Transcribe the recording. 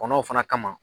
Kɔnɔw fana kama